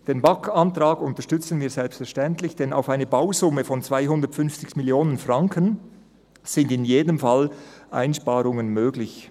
Den BaK-Antrag unterstützen wir selbstverständlich, denn bei einer Bausumme von 250 Mio. Franken sind in jedem Fall Einsparungen möglich.